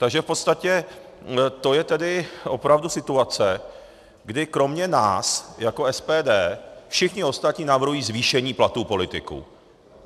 Takže v podstatě to je tedy opravdu situace, kdy kromě nás jako SPD všichni ostatní navrhují zvýšení platů politiků.